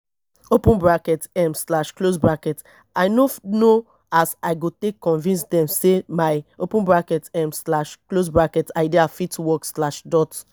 open bracket um slash close bracket i no know as i go take convince dem sey my open bracket um slash close bracket idea fit work slash dot